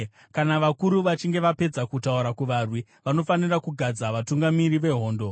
Kana vakuru vachinge vapedza kutaura kuvarwi, vanofanira kugadza vatungamiri vehondo.